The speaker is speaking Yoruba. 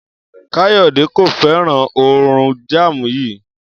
Kàyó̩dè kò fé̩ràn òórùn jáàmù yìí